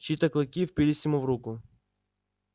чьи-то клыки впились ему в руку